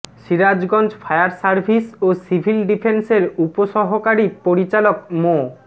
Sirajganj fire service ও civil ডিফেন্সের উপসহকারী পরিচালক মো